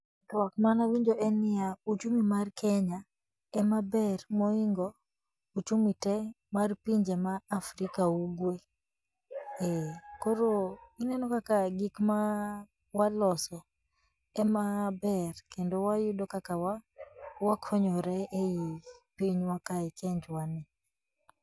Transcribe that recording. Twak manawinjo en niyaa, uchumi mar kenya emaber mohingo uchumi tee mar pinje Afrika ugwe, eeh , ineno kaka gikma waloso emaber, kendo wayudo kaka wakonyore e pinjwa kae e kenjwani.